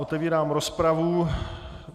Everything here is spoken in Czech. Otevírám rozpravu.